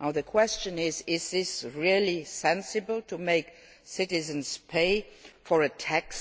Now the question is, is it really sensible to make citizens pay a tax